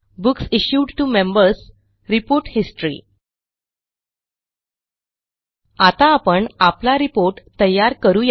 books issued to Members report history आता आपण आपला रिपोर्ट तयार करू या